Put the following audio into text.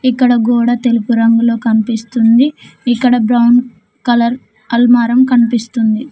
ఇక్కడ గోడ తెలుపు రంగులో కనిపిస్తుంది ఇక్కడ బ్రౌన్ కలర్ అల్మారం కనిపిస్తుంది.